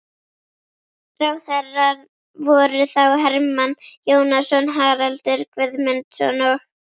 Ráðherrar voru þá: Hermann Jónasson, Haraldur Guðmundsson og